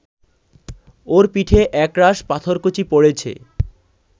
ওর পিঠে একরাশ পাথরকুচি পড়েছে